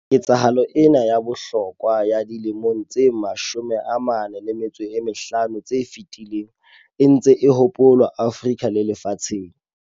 Ketsahalo ena ya bohlokwa ya dilemong tse 45 tse fetileng e ntse e hopolwa Afrika le lefatsheng.